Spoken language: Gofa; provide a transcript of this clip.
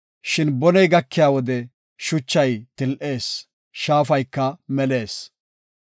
Shin boney gakiya wode shachay til7ees; shaafayka melees.